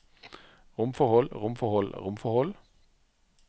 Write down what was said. romforhold romforhold romforhold